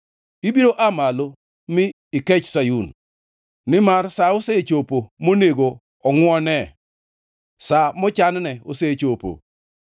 Ibiro aa malo mi ikech Sayun, nimar sa osechopo monego ongʼwonee; sa mochanne osechopo.